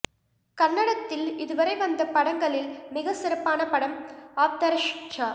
கன்னடத்தில் இதுவரை வந்த படங்களில் மிகச் சிறப்பான படம் ஆப்தரக்ஷகா